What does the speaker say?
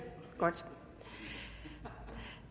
så